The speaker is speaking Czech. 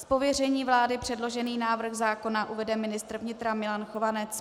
Z pověření vlády předložený návrh zákona uvede ministr vnitra Milan Chovanec.